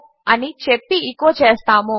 అని చెప్పి ఎచో చేస్తాము